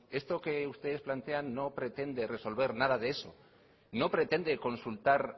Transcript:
esto que ustedes plantean no pretende resolver nada de eso no pretende consultar